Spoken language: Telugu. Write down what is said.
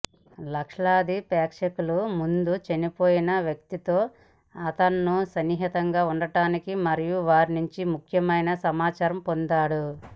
లక్షలాది ప్రేక్షకులకు ముందు చనిపోయిన వ్యక్తులతో అతను సన్నిహితంగా ఉండటానికి మరియు వారి నుండి ముఖ్యమైన సమాచారం పొందాడు